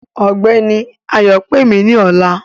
Ọgbẹni Ayọ̀ pẹ̀ mí ní ọ̀là.